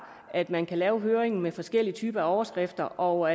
at man kan lave høringen med forskellige typer af overskrifter og